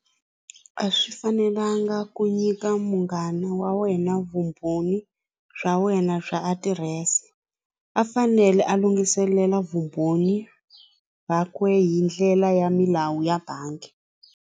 A swi fanelanga ku nyika munghana wa wena vumbhoni bya wena bya adirese a fanele a lunghiselela vumbhoni byakwe hindlela ya milawu ya bangi.